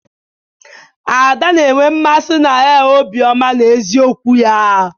Ada na-enwe mmasị na er obiọma na eziokwu ya.